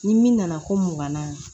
Ni min nana ko mun kan na